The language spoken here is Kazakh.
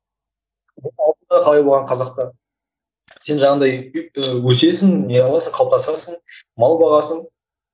қалай болған қазақта сен жаңағындай і өсесің не қыласың қалыптасасың мал бағасың